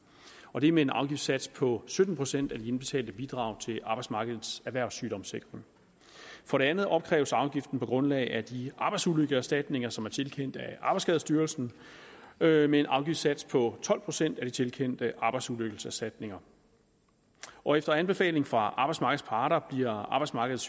og det er med en afgiftssats på sytten procent af de indbetalte bidrag til arbejdsmarkedets erhvervssygdomssikring for det andet opkræves afgiften på grundlag af de arbejdsulykkeserstatninger som er tilkendt af arbejdsskadestyrelsen med en en afgiftssats på tolv procent af de tilkendte arbejdsulykkeserstatninger og efter anbefaling fra arbejdsmarkedets parter bliver arbejdsmarkedets